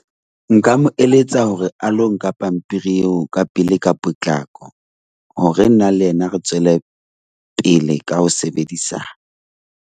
Nka mo eletsa hore a lo nka pampiri eo ka pele ka potlako hore nna le yena re tswellepele ka ho sebedisana.